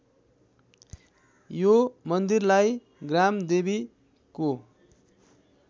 यो मन्दिरलाई ग्रामदेवीको